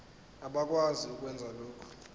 abakwazi ukwenza lokhu